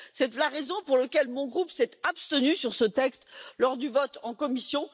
C'est la raison pour laquelle mon groupe s'est abstenu sur ce texte lors du vote en commission.